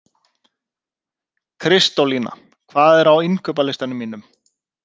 Kristólína, hvað er á innkaupalistanum mínum?